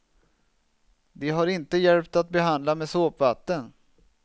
Det har inte hjälpt att behandla med såpvatten.